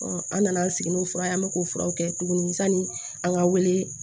an nana an sigi n'o fura ye an bɛ k'o furaw kɛ tuguni sani an ka wele